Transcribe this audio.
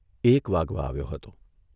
એક વાગવા આવ્યો હતો.